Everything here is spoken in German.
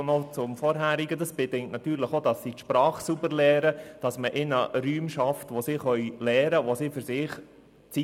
Noch zum Vorhergehenden: Das bedingt natürlich auch, dass sie die Sprache gut lernen, und dass man Räume für sie schafft, in denen sie lernen können und Zeit für sich haben.